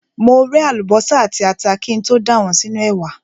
Mo ré àlùbọ́sà àti ata kí n tó dà wọ́n sínú ẹ̀wà.